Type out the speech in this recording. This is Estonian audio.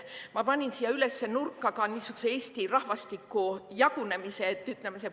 Ma panin siia üles nurka ka niisuguse Eesti rahvastiku jagunemise.